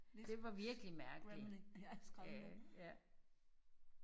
Det var virkelig mærkelig ja ja